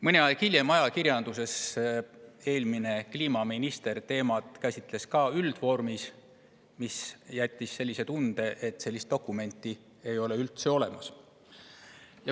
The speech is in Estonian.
Mõni aeg hiljem eelmine kliimaminister käsitles seda teemat ajakirjanduses, üldvormis, ja see jättis mulje, et sellist dokumenti ei ole üldse olemas.